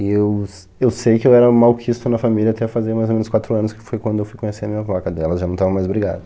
E eu s, eu sei que eu era malquisto na família até fazer mais ou menos quatro anos, que foi quando eu fui conhecer a minha avó, que aí ela já não estava mais brigada.